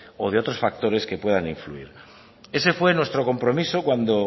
o de otros factores que puedan influirlo ese fue nuestro compromiso cuando